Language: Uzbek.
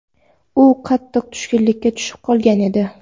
U qattiq tushkunlikka tushib qolgan edi.